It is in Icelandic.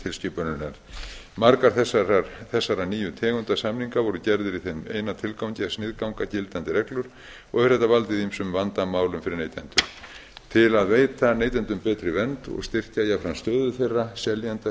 tilskipunarinnar margar þessarar nýju tegundar samninga voru gerðir í þeim eina tilgangi að sniðganga gildandi reglur og hefur þetta valdið ýmsum vandamálum fyrir neytendur til að veita neytendum betri vernd og styrkja jafnframt stöðu þeirra seljenda